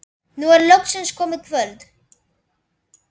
Nú er loksins komið kvöld.